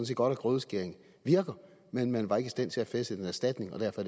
set godt at grødeskæring virker men man var ikke i stand til at fastsætte en erstatning og derfor